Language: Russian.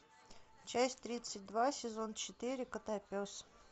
часть тридцать два сезон четыре котопес